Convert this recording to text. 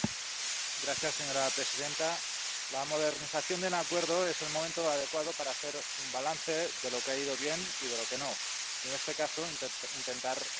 Señora presidenta, la modernización de un acuerdo es el momento adecuado para hacer un balance de lo que ha ido bien y de lo que no y, en este caso, intentar remediarlo.